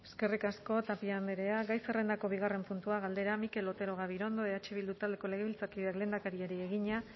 eskerrik asko tapia andrea gai zerrendako bigarren puntua galdera mikel otero gabirondo eh bildu taldeko legebiltzarkideak lehendakariari egina